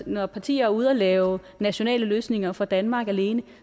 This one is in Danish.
når partier er ude at lave nationale løsninger for danmark alene